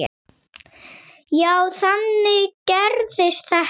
Já, þannig gerist þetta.